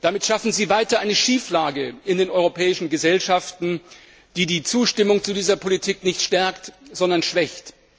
Damit schaffen Sie weiterhin eine Schieflage in den europäischen Gesellschaften, die die Zustimmung zu dieser Politik nicht stärkt, sondern schwächt.